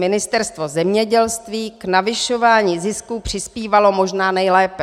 Ministerstvo zemědělství k navyšování zisků přispívalo možná nejlépe.